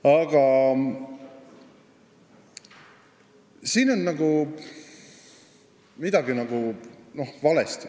Aga siin on midagi valesti.